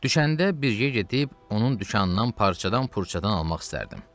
Düşəndə bir yerə gedib, onun dükanından parçadan-pürçədən almaq istərdim.